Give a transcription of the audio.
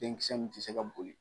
Denkisɛ in tɛ se ka boli